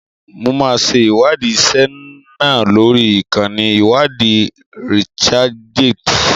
Mo máa ṣe ìwádìí ìṣe náà lórí ìkànnì iwadi "Researchgate".